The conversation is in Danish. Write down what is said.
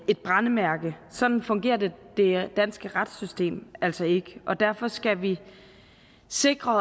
et brændemærke sådan fungerer det danske retssystem altså ikke og derfor skal vi sikre